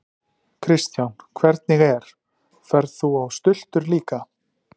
Kristján: Hvernig er, ferð þú á stultur líka?